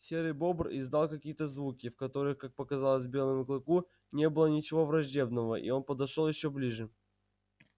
серый бобр издал какие то звуки в которых как показалось белому клыку не было ничего враждебного и он подошёл ещё ближе